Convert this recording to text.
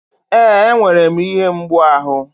Ee, enwere m ihe mgbu ahụ.